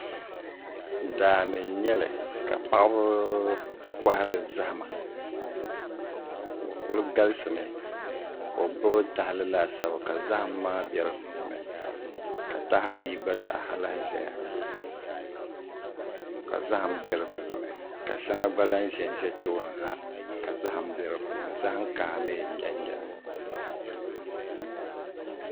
Daani n nyɛli ka paɣaba kohari zahama bi kuli galisimi ka o gbubi tahali laasabu ka zaham maa bɛ di puuni ka taha ayi gba zaa lahi ʒɛya ka zaham bɛ di puuni ka shɛli gba lahi ʒɛnʒɛ tooni na ka zaham bɛ di puuni zaham kaha mii n nyɛli